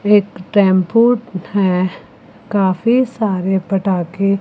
एक टेंपो है काफी सारे पटाखे--